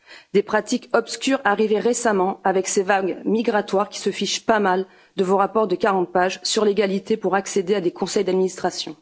Des pratiques obscures arrivées récemment avec ces vagues migratoires qui se fichent pas mal de vos rapports de 40 pages sur l'égalité pour accéder à des conseils d'administration.